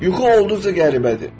Yuxu olduqca qəribədir.